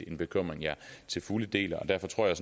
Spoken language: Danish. en bekymring jeg til fulde deler og derfor tror jeg